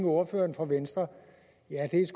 ordføreren for venstre ja det er